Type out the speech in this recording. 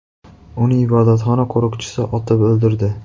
Uni ibodatxona qo‘riqchisi otib o‘ldirdi.